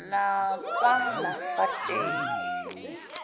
bakwanafateli